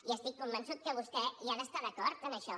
i estic convençut que vostè hi ha d’estar d’acord en això